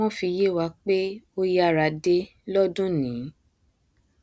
wọn fi yé wa pé ó yára dé lọdúnìí